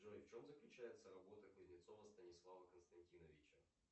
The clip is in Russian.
джой в чем заключается работа кузнецова станислава константиновича